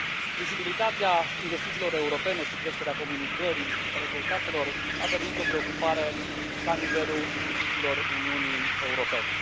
Vizibilitatea investițiilor europene și creșterea comunicării rezultatelor au devenit o preocupare la nivelul instituțiilor Uniunii Europene.